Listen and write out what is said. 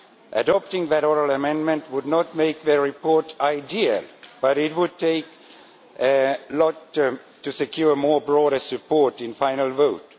Adopting that oral amendment would not make the report ideal, but it would do a lot to secure broader support in the final vote.